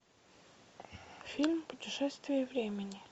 фильм путешествие времени